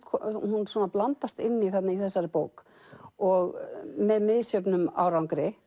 hún blandast inn í í þessari bók og með misjöfnum árangri